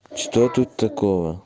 что тут такого